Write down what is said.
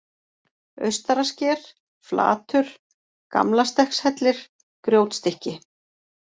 Austarasker, Flatur, Gamlastekkshellir, Grjótstykki